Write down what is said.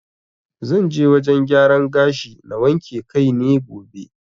Zan je wajen gyaran gashi na wanke kai ne gobe.